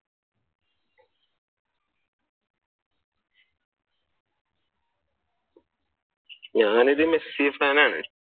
ഞാൻ ഒരു Messi fan ആണ്.